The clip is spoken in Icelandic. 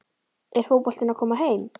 Er fótboltinn að koma heim?